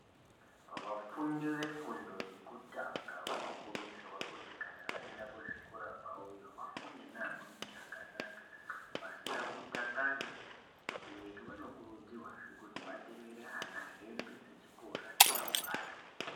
Vafundi vefundo yekutanga vanokurudzirwa kuti kana vaenda kuzvikora kwavoyo vafunde neamweni zvakanaka. Pasina kutakana vabereki vanokurudzirwazve kuti vatengere ana hembe dzechikora memagwada.